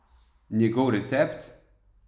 Njegov recept?